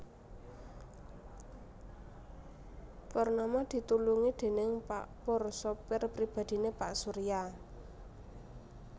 Purnama ditulungi déning pak Pur sopir pribadhiné pak Surya